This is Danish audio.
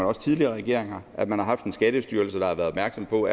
også tidligere regeringer har at man har haft en skattestyrelse der har været opmærksom på